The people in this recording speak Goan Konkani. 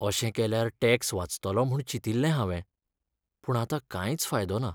अशें केल्यार टॅक्स वाचतलो म्हूण चिंतिल्लें हांवें, पूण आतां कांयच फायदो ना.